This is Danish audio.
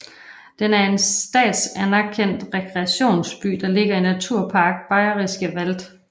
Den er en statsanerktrekreationsby der ligger i Naturpark Bayerischer Wald